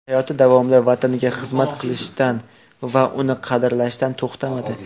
Hayoti davomida vataniga xizmat qilishdan va uni qadrlashdan to‘xtamadi.